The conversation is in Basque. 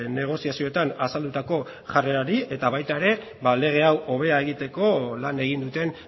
negoziazioetan azaldutako jarrerari eta baita ere ba lege hau hobea egiteko lan egin duten